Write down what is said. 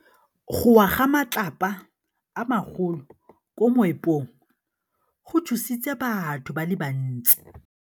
Go wa ga matlapa a magolo ko moepong go tshositse batho ba le bantsi.